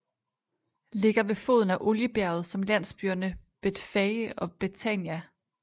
Ligger ved foden af oliebjerget som landsbyerne betfage og betania